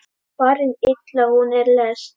Farin illa hún er lest.